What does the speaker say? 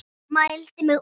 Mældi mig út.